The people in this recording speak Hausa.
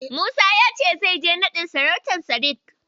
Musa ya ce zai je naɗin sarautar Sadik.